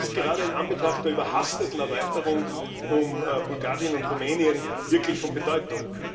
Das ist gerade in Anbetracht der überhasteten Erweiterung um Bulgarien und Rumänien wirklich von Bedeutung.